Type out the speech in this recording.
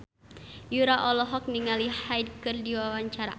Yura olohok ningali Hyde keur diwawancara